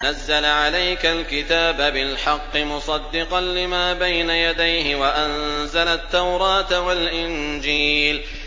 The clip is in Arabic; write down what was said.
نَزَّلَ عَلَيْكَ الْكِتَابَ بِالْحَقِّ مُصَدِّقًا لِّمَا بَيْنَ يَدَيْهِ وَأَنزَلَ التَّوْرَاةَ وَالْإِنجِيلَ